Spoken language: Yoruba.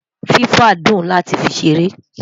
fifa dùn láti fí ṣeré